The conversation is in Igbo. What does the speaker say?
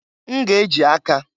N ga-eji aka.